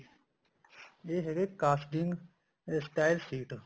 ਇਹ ਹੈਗਾ casting stir sheet